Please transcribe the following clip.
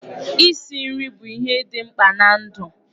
Isi nri bụ ihe dị mkpa na ndụ.